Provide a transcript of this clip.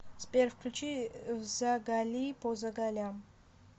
сбер включи взагалипозагалям